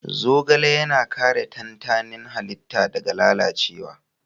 Zogale yana kare tantanin halitta daga lalacewa